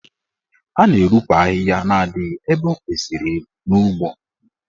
A na-eropu ahịhịa na adịghị ebe o kwesịrị ịdị n'ugbo.